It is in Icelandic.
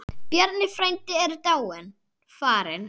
Bjarni frændi er dáinn, farinn.